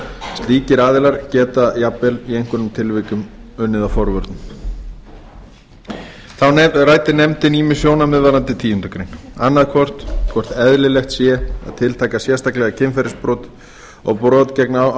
slíkir aðilar geta jafnvel í einhverjum tilvikum unnið að forvörnum þá ræddi nefndin ýmis sjónarmið varðandi tíundu grein annars vegar hvort eðlilegt sé að tiltaka sérstaklega kynferðisbrot og brot á